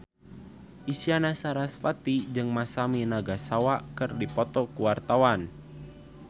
Isyana Sarasvati jeung Masami Nagasawa keur dipoto ku wartawan